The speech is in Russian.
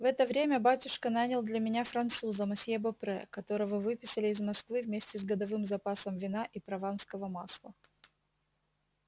в это время батюшка нанял для меня француза мосье бопре которого выписали из москвы вместе с годовым запасом вина и прованского масла